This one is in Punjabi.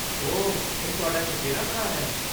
ਓਹ, ਇਹ ਤੁਹਾਡਾ ਚਚੇਰਾ ਭਰਾ ਹੈ?